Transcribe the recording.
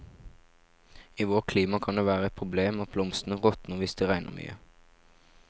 I vårt klima kan det være et problem at blomstene råtner hvis det regner mye.